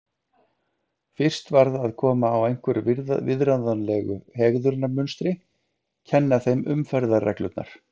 Fyrst varð að koma á einhverju viðráðanlegu hegðunarmunstri, kenna þeim umferðarreglurnar.